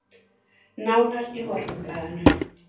Nánar í Morgunblaðinu